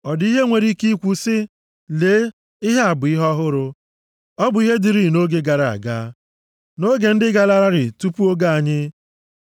Ọ dị ihe enwere ike ikwu sị, “Lee, ihe a bụ ihe ọhụrụ”? Ọ bụ ihe dịịrị nʼoge gara aga, nʼoge ndị garalarị tupu oge anyị.